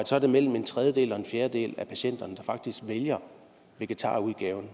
så er mellem en tredjedel og en fjerdedel af patienterne der faktisk vælger vegetarudgaven